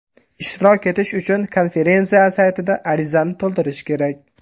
Ishtirok etish uchun konferensiya saytida arizani to‘ldirish kerak.